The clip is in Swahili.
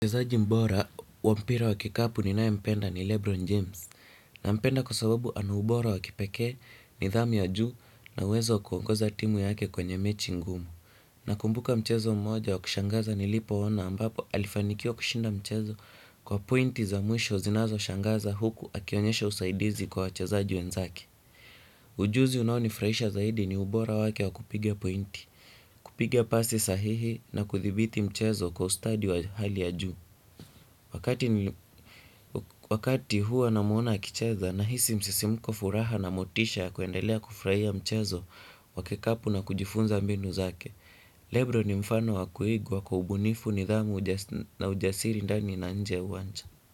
Mchezaji bora wa mpira wa kikapu ninaye mpenda ni Lebron James. Nampenda kwa sababu ana ubora wakipekee nidhamu ya juu na uwezo wa kuongoza timu yake kwenye mechi ngumu. Nakumbuka mchezo mmoja wa kushangaza nilipo ona ambapo alifanikiwa kushinda mchezo kwa pointi za mwisho zinazo shangaza huku akionyesha usaidizi kwa wachezaji wenzake. Ujuzi unao nifurahisha zaidi ni ubora wake wa kupigia pointi, kupiga pasi sahihi na kuthibiti mchezo kwa ustadi wa hali ya juu. Wakati huwa namuona akicheza nahisi msisimko furaha na motisha kuendelea kufurahia mchezo wa kikapu na kujifunza mbinu zake. Lebro ni mfano wa kuigwa kwa ubunifu nidhamu na ujasiri ndani na nje ya uwanja.